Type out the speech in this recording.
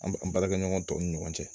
An b an baarakɛɲɔgɔn tɔw ni ɲɔgɔn cɛ